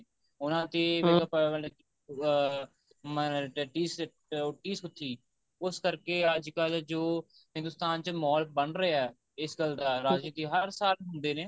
ਉਹਨਾ ਦੀ ਮਤਲਬ ਕਿ ਅਹ ਮੰਨਲ ਡਡੀ ਸੀਟ ਉੱਟੀ ਸੂਚੀ ਉਸ ਕਰਕੇ ਅੱਜਕਲ ਜੋ ਹਿੰਦੁਸਤਾਨ ਚ ਮਹੋਲ ਬੰਨ ਰਿਹਾ ਇਸ ਗੱਲ ਦਾ ਰਾਜਨੀਤੀ ਹਰ ਸਾਲ ਹੁੰਦੇ ਨੇ